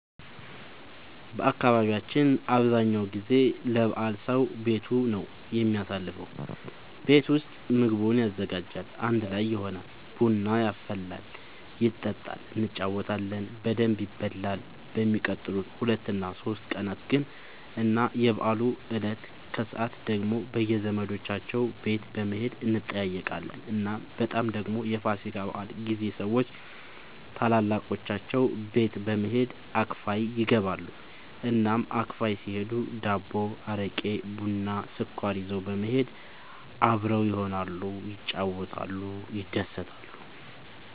በአካባቢያችን አብዛኛው ጊዜ ለበዓል ሰዉ ቤቱ ነው የሚያሳልፈው። ቤት ውስጥ ምግቡን ያዘጋጃል፣ አንድ ላይ ይሆናል፣ ቡና ይፈላል ይጠጣል እንጫወታለን በደንብ ይበላል በሚቀጥሉት ሁለት እና ሶስት ቀናት ግን እና የበዓሉ እለት ከሰዓት ደግሞ በየዘመዶቻቸው ቤት በመሄድ እንጠያየቃለን። እናም በጣም ደግሞ የፋሲካ በዓል ጊዜ ሰዎች ታላላቆቻቸው ቤት በመሄድ አክፋይ ይገባሉ። እናም አክፋይ ሲሄዱ ዳቦ፣ አረቄ፣ ቡና፣ ስኳር ይዘው በመሄድ አብረው ይሆናሉ፣ ይጫወታሉ፣ ይደሰታሉ።